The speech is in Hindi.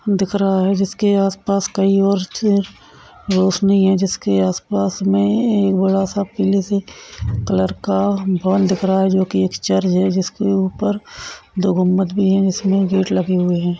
दिख रहा है जिसके आसपास कई और नहीं हे जिसके आसपास में एक बडा सा कलर का दिख रहा है जो की एक चर्च है जिसके ऊपर दो गुम्बत भी है जिसमे गेट लगे हुए है।